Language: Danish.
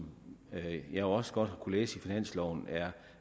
jeg også godt kunne læse i finansloven er